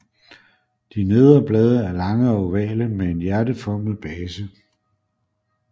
De nedre blade er lange og ovale med en hjerteformet base